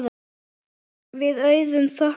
Við Auður þökkum fyrir okkur.